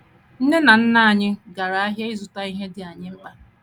Nne na nna Nne na nna anyị gara ahịa ịzụta ihe ndị dị anyị mkpa.